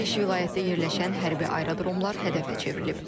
Beş vilayətdə yerləşən hərbi aerodromlar hədəfə çevrilib.